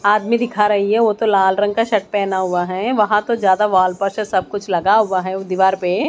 आदमी दिखा रही है वो तो लाल रंग का शर्ट पहना हुआ है वहां तो ज्यादा वॉल पस्टर सब कुछ लगा हुआ है वो दीवार पे--